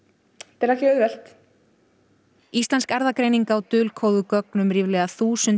er ekki auðvelt íslensk erfðagreining á dulkóðuð gögn um ríflega þúsund